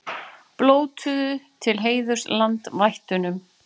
Blótuðu til heiðurs landvættunum